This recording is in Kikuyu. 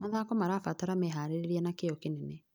Mathako marabatara meharĩrĩria na kĩyo kĩnene.